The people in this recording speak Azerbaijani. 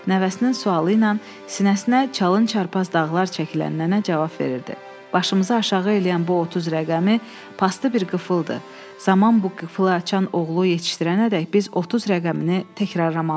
Nəvəsinin sualı ilə sinəsinə çalın çarpaz dağlar çəkilən nənə cavab verirdi: Başımızı aşağı eləyən bu 30 rəqəmi pastı bir qıfıldır, zaman bu qıfılı açan oğlu yetişdirənədək biz 30 rəqəmini təkrarlamalıyıq.